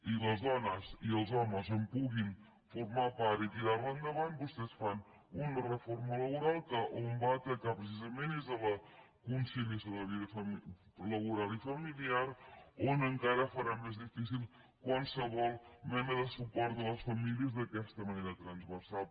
i les dones i els homes en puguin formar part i tirar·la endavant vostès fan una reforma laboral que on va a atacar precisament és a la conciliació de la vida laboral i familiar on encara farà més difícil qual·sevol mena de suport a les famílies d’aquesta manera transversal